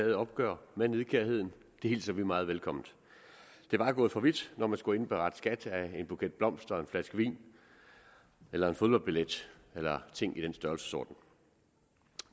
et opgør med nidkærheden det hilser vi meget velkomment det var gået for vidt når man skulle indberette skat af en buket blomster en flaske vin eller en fodboldbillet eller en ting i den størrelsesorden